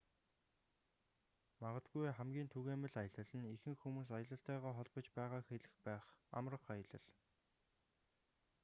магадгүй хамгийн түгээмэл аялал нь ихэнх хүмүүс аялалтайгаа холбож байгааг хэлэх байх амрах аялал